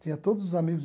Tinha todos os amigos.